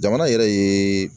Jamana yɛrɛ ye